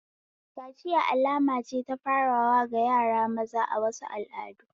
Kaciya alama ce ta farawa ga yara maza a wasu al'adu.